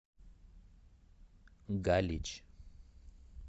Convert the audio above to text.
галич